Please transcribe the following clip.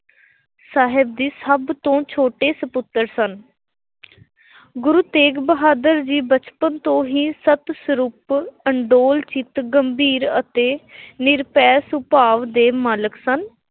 ਸਾਹਿਬ ਦੇ ਸਭ ਤੋਂ ਛੋਟੇ ਸਪੁੱਤਰ ਸਨ। ਗੁਰੂ ਤੇਗ ਬਹਾਦਰ ਜੀ ਬਚਪਨ ਤੋਂ ਹੀ ਸੰਤ-ਸਰੂਪ, ਅਡੋਲ ਚਿੱਤ, ਗੰਭੀਰ ਅਤੇ ਨਿਰਭੈ ਸੁਭਾਅ ਦੇ ਮਾਲਕ ਸਨ।